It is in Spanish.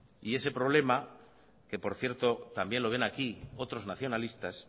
y ese problema que por cierto también lo ven aquí otros nacionalistas